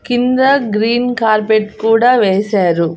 కింద green carpet కూడా వేశారు.